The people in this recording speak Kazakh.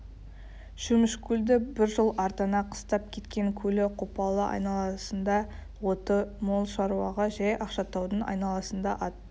шөмішкөлді бір жыл ардана қыстап кеткен көлі қопалы айналасында оты мол шаруаға жай ақшатаудың айналасында ат